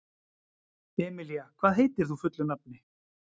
Emelía, hvað heitir þú fullu nafni?